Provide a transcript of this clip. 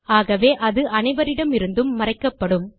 ஆகவே அது அனைவரிடமிருந்தும் மறைக்கப்படும்